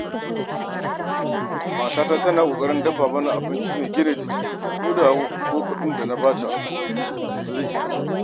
Matata tana ƙoƙarin dafa mana abinci mai gina jiki koda kuwa kuɗin da na bayar ba su isa ba.